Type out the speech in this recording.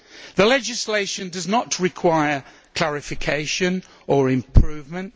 The legislation does not require clarification or improvement.